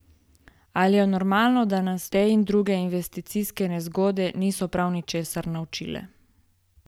Ali je normalno, da nas te in druge investicijske nezgode niso prav ničesar naučile?